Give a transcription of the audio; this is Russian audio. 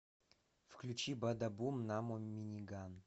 включи бада бум намо миниган